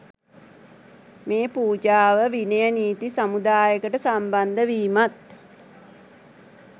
මේ පූජාව විනය නීති සමුදායකට සම්බන්ධ වීමත්